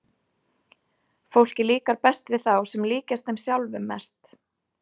Fólki líkar best við þá sem líkjast þeim sjálfum mest.